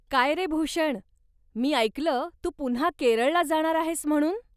काय रे भूषण, मी ऐकलं तू पुन्हा केरळला जाणार आहेस म्हणून?